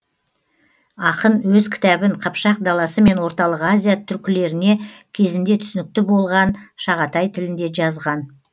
ақын өз кітабын қыпшақ даласы мен орталық азия түркілеріне кезінде түсінікті болған шағатай тілінде жазған